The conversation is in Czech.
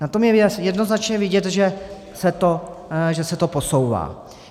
Na tom je jednoznačně vidět, že se to posouvá.